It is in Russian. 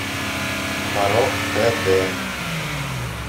порок хэ дэ